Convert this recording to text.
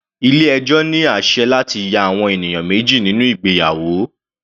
Ilé ẹjọ́ ní àsẹ̀ láti ya àwọn ènìyàn méjì nínú ìgbéyàwó.